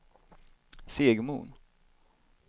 Segmon